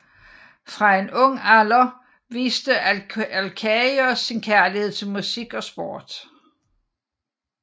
Fra en ung alder viste Alkaios sin kærlighed til musik og sport